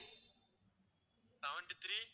seventy-three